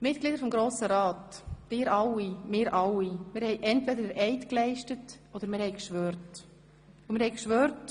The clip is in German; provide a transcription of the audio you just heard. Die Mitglieder des Grossen Rats, Sie, wir alle, haben entweder das Gelübde abgelegt oder den Eid geleistet.